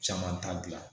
Caman t'a gilan